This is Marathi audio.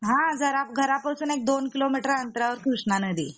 हा जरा घरपासून एक दोन किलोमीटर अंतरावर कृष्णा नदी आहे.